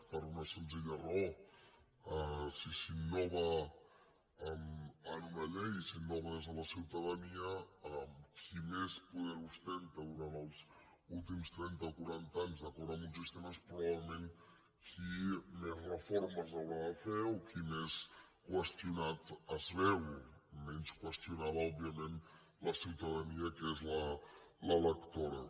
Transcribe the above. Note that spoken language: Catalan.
per una senzilla raó si s’innova en una llei i s’innova des de la ciutadania qui més poder ostenta durant els últims trenta o quaranta anys d’acord amb un sistema és probablement qui més reformes haurà de fer o qui més qüestionat es veu menys qüestionada òbviament la ciutadania que és l’electora